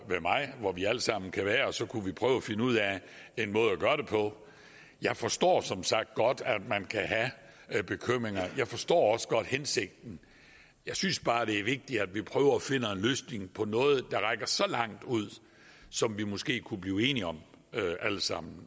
mig hvor vi alle sammen kan være og så kunne vi prøve at finde ud af en måde at gøre det på jeg forstår som sagt godt at man kan have bekymringer jeg forstår også godt hensigten jeg synes bare det er vigtigt at vi prøver at finde en løsning på noget der rækker så langt ud og som vi måske kunne blive enige om alle sammen